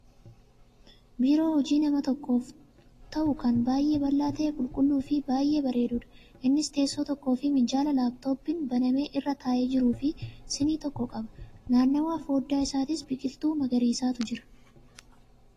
Biiroo hojii nama tokkoof ta'u kan baay'ee bal'aa ta'e, qulqulluufi bay'ee bareeduudha. Innis teessoo tokkoofi minjaala laaptooppiin banamee irra taa'ee jirufi sinii tokko qaba. Naannawaa fooddaa isaatis biqiltuu magariisatu jira.